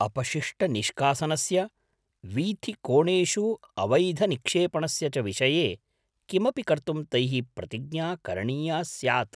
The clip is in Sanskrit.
अपशिष्टनिष्कासनस्य, वीथिकोणेषु अवैधनिक्षेपणस्य च विषये किमपि कर्तुं तैः प्रतिज्ञा करणीया स्यात्।